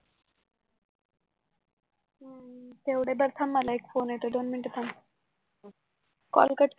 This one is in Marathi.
तेवढ बघ थांब मला एक फोन येतोय दोन मिनिट थांब